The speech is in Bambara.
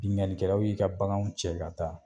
Bingannikɛlaw y'i ka baganw cɛ ka taa.